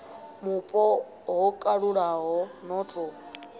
mupo ho kalulaho no ḓo